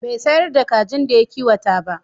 Bai sayar da kajin da ya kiwata ba.